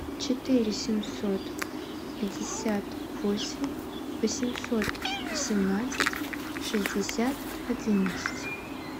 четыре семьсот пятьдесят восемь восемьсот восемнадцать шестьдесят одиннадцать